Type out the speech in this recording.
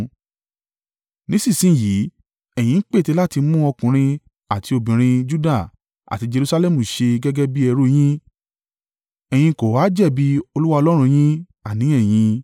Nísinsin yìí, ẹ̀yin ń pète láti mú ọkùnrin àti obìnrin Juda àti Jerusalẹmu ṣe gẹ́gẹ́ bí ẹrú yín, ẹ̀yin kò ha jẹ̀bi Olúwa Ọlọ́run yín, àní ẹ̀yin?